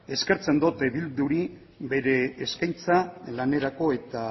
eskertzen dut bilduri bere eskaintza lanerako eta